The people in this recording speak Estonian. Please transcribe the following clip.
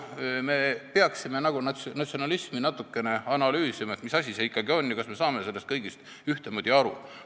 Me peaksime paraku natukene analüüsima, mis asi see natsionalism ikkagi on ja kas me saame sellest kõik ühtemoodi aru.